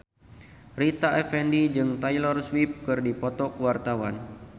Rita Effendy jeung Taylor Swift keur dipoto ku wartawan